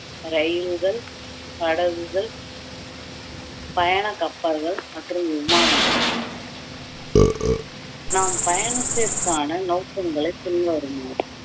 ரயில்கள் படகுகள் பயணக் கப்பல்கள் மற்றும் விமானங்கள் நாம் பயணத்திற்கான நோக்கங்களை பின்வருமாறு